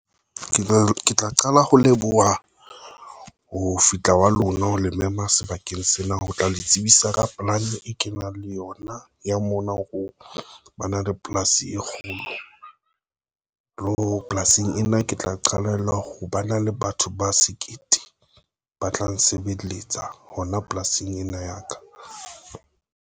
Ke tla qala ho leboha ho fihla wa lona ha le mema sebakeng sena, ho tla le tsebisa ka polane e kenang le yona ya mona. Hore o bana le polasing e hulwa lo polasing ena, ke tla qalella ho ba na le batho ba sekete ba tla nsebeletsa hona polasing ena ya ka tlung.